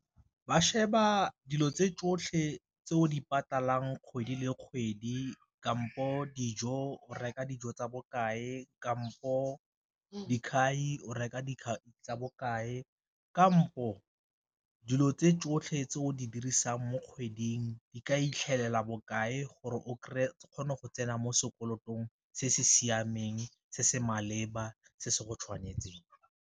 Ba sheba dilo tse tsotlhe tse o di patalang kgwedi le kgwedi kampo dijo, o reka dijo tsa bokae kampo dikhai o reka dikhai tsa bokae kampo dilo tse tsotlhe tse o di dirisang mo kgweding di ka itlhelela bokae, gore o kgone go tsena mo sekolotong se se siameng se se maleba se se go tshwanetseng.